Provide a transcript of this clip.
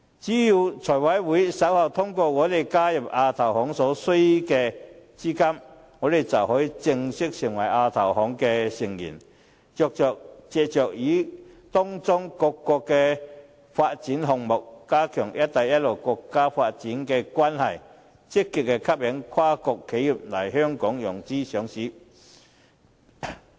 只要財務委員會稍後通過香港加入亞洲基礎設施投資銀行所需的資金撥款，香港便可以正式成為亞投行的成員，藉着參與各個發展項目，加強"一帶一路"的國家發展關係，積極吸引跨國企業來香港融資上市。